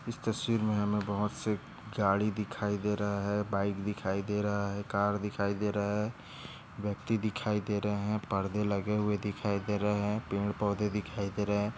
इस तस्वीर मे हमे बहुत से गाड़ी दिखाई दे रहा है बाईक दिखाई दे रहा है कार दिखाई दे रहा है व्यक्ति दिखाई दे रहे है परदे लगे हुए दिखाई दे रहे है पेड़ पौधे दिखाई दे रहे है।